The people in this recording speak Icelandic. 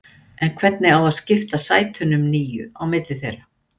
En hvernig á að skipta sætunum níu á milli þeirra?